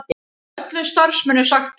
Öllum starfsmönnum sagt upp